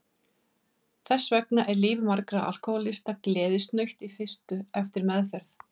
Þess vegna er líf margra alkohólista gleðisnautt í fyrstu eftir meðferð.